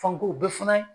Fanko bɛɛ fana